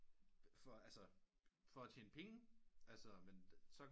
For altså at tjene penge altså men så